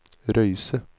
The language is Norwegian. Røyse